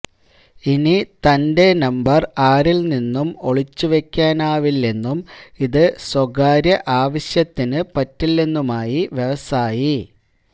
ഇനി തന്റെ നമ്പർ ആരിൽ നിന്നും ഒളിച്ചുവയ്ക്കാനാവില്ലെന്നും ഇത് സ്വകാര്യ ആവശ്യത്തിന് പറ്റില്ലെന്നുമായി വ്യവസായി